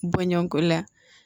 Bɔɲɔgɔnko la